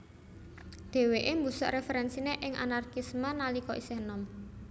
Dheweke mbusek referensine ing Anarkisme nalika isih enom